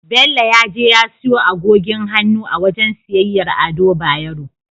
Bello ya je ya siyo agogin hannu a wajen siyayyar Ado Bayero.